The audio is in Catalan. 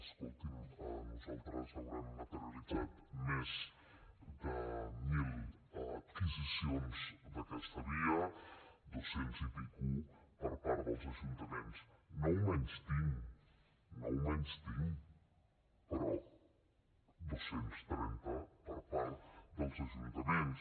escolti’m nosaltres haurem materialitzat més de mil adquisicions per aquesta via dos cents i escaig per part dels ajuntaments no ho menystinc no ho menystinc però dos cents i trenta per part dels ajuntaments